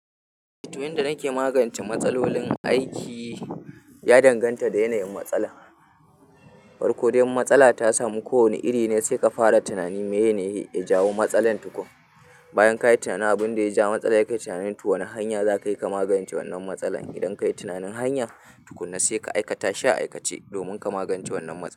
Tuh yadda nake magance matsalolin aiki ya danganta da yanayin matsala. Farko dai matsala ta samu ko wane iri ne, sai ka fara tunani me ye ne ya jawo matsalar tukum. Bayan ka yi tunani abin da ya ja matsala, yi kai tunanin tu wane hanya za ka yi ka magance wannan matsalar. Idan ka yi tunanin hanya tukuana, sai ka aikata shi a aikace domin ka magance wannan matsala.